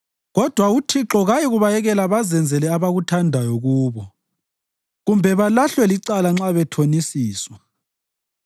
kodwa uThixo kayikubayekela bazenzele abakuthandayo kubo kumbe balahlwe licala nxa bethonisiswa.